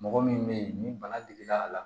Mɔgɔ min bɛ ye ni bana digir'a la